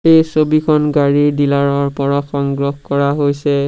এই ছবিখন গাড়ী ডিলাৰ ৰ পৰা সংগ্ৰহ কৰা হৈছে।